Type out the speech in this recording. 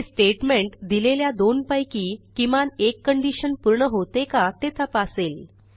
हे स्टेटमेंट दिलेल्या दोनपैकी किमान एक कंडिशन पूर्ण होते का ते तपासेल